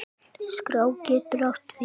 Skrá getur átt við